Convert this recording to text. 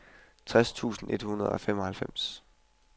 tres tusind et hundrede og femoghalvfems